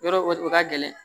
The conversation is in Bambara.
Yɔrɔ o ka gɛlɛn